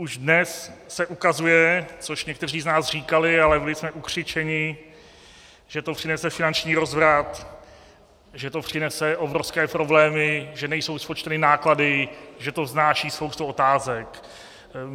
Už dnes se ukazuje, což někteří z nás říkali, ale byli jsme ukřičeni, že to přinese finanční rozvrat, že to přinese obrovské problémy, že nejsou spočteny náklady, že to vznáší spoustu otázek.